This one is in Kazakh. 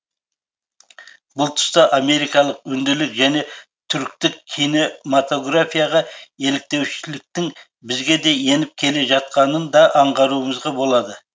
бұл тұста америкалық үнділік және түріктік киномотаграфияға еліктеушіліктің бізге де еніп келе жатқанын да аңғаруымызға болады